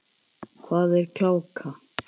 Hvað er gláka?